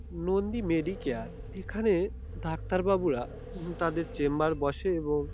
Nandi medicare এখানে doctor বাবুরা তাদের চেম্বার বসে। এবং--